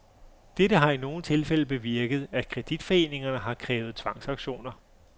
Dette har i nogle tilfælde bevirket, at kreditforeningerne har krævet tvangsauktioner.